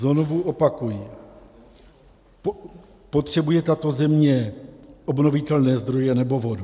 Znovu opakuji: Potřebuje tato země obnovitelné zdroje, nebo vodu?